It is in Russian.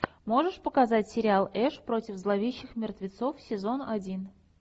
можешь показать сериал эш против зловещих мертвецов сезон один